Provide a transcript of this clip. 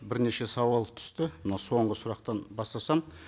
бірнеше сауал түсті мынау соңғы сұрақтан бастасам